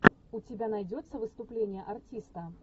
у тебя найдется выступление артиста